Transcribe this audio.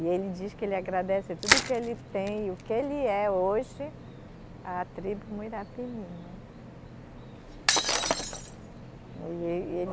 E ele diz que ele agradece tudo que ele tem e o que ele é hoje à tribo Muirapinima. E ê, ele